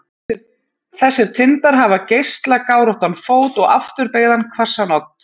Þessir tindar hafa geislagáróttan fót og afturbeygðan hvassan odd.